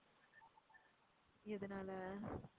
எதுனால?